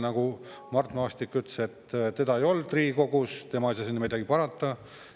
Nagu Mart Maastik ütles, teda ei olnud Riigikogus, tema ei saa sinna midagi parata.